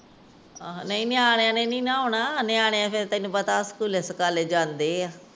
ਨਹੀਂ ਨਾ ਨਿਆਣਿਆਂ ਨੇ ਨਹੀਂ ਨਾ ਆਉਣਾ। ਨਿਆਣੇ ਫੇਰ ਤੈਨੂੰ ਪਤਾ ਸਕੂਲੇ ਸਕਾਲੇ ਜਾਂਦੇ ਆ।